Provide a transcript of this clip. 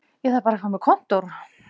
Ég þarf bara að fá mér kontór